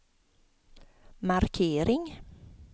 markering